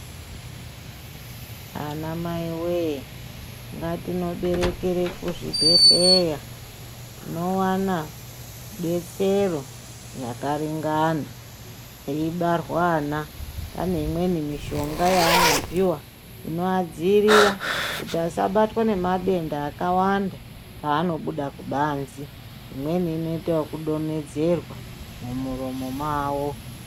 Anamai wee ngatinoberekere kuzvibhedhleya. Tinowana detsero yakaringana. Peibarwa ana pane imweni mishonga yaanopiwa inoadzirira kuti asabatwa nemadenda akawanda paanobuda kubanzi. Imweni inoita wokudonhedzerwa mumuromo mavo.